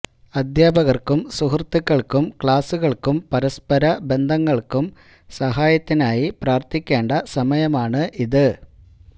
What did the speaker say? അധ്യാപകർക്കും സുഹൃത്തുക്കൾക്കും ക്ലാസ്സുകൾക്കും പരസ്പര ബന്ധങ്ങൾക്കും സഹായത്തിനായി പ്രാർത്ഥിക്കേണ്ട സമയമാണ് ഇത്